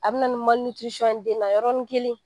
A bi na ni ye den na yɔrɔni kelen.